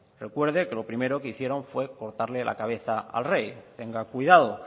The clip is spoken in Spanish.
recuerde que lo primero que hicieron fue cortarle la cabeza al rey tenga cuidado